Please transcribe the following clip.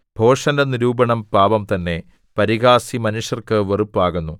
ഭോഷന്റെ നിരൂപണം പാപം തന്നെ പരിഹാസി മനുഷ്യർക്ക് വെറുപ്പാകുന്നു